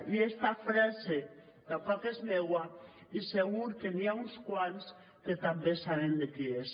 i esta frase tampoc és meua i segur que hi ha uns quants que també saben de qui és